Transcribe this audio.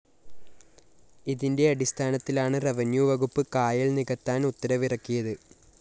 ഇതിന്റെ അടിസ്ഥാനത്തിലാണ് റവന്യൂവകുപ്പ് കായല്‍ നികത്താന്‍ ഉത്തരവിറക്കിയത്